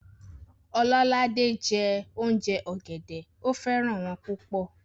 Ololade jẹ́ òùnjẹ ọ̀gẹ̀dẹ̀, ó fẹ́ràn wọ́n púpọ̀